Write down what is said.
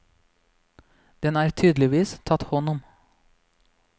Den er tydeligvis tatt hånd om.